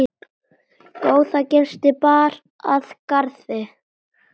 Góða gesti bar að garði.